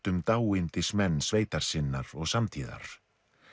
um sveitar sinnar og samtíðar